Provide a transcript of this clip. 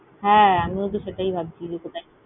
হ্যাঁ, আমিও তো সেটাই ভাবছি যে কথায়।